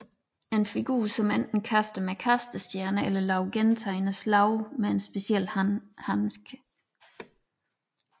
En figur som enten kaster med kastestjerner eller laver gentagende slag med en speciel handske